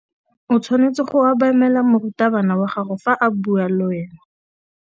O tshwanetse go obamela morutabana wa gago fa a bua le wena.